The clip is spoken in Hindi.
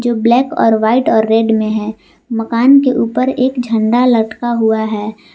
जो ब्लैक और वाइट और रेड में है मकान के ऊपर एक झंडा लटका हुआ है।